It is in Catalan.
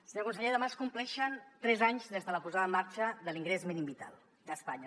senyor conseller demà es compleixen tres anys des de la posada en marxa de l’ingrés mínim vital d’espanya